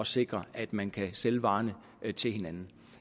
sikre at man kan sælge varerne til hinanden